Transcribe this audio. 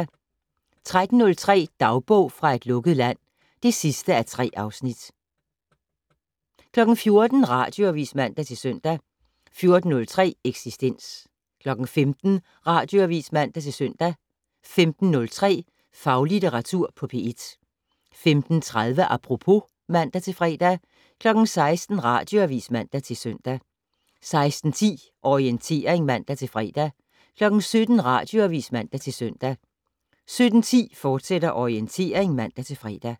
13:03: Dagbog fra et lukket land (3:3) 14:00: Radioavis (man-søn) 14:03: Eksistens 15:00: Radioavis (man-søn) 15:03: Faglitteratur på P1 15:30: Apropos (man-fre) 16:00: Radioavis (man-søn) 16:10: Orientering (man-fre) 17:00: Radioavis (man-søn) 17:10: Orientering, fortsat (man-fre)